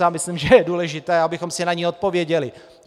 Já myslím, že je důležité, abychom si na ni odpověděli.